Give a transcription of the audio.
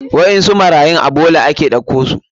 Waɗansu marayun a bola ake ɗauko su.